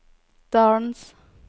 dalens